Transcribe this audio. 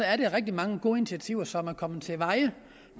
er det rigtig mange gode initiativer som er kommet til veje